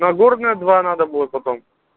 нагорная два надо будет потом